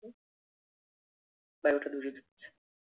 বায়ু টা দূষিত হচ্ছে।